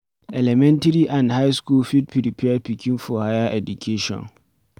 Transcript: Elementary and high school fit prepare pikin for higher education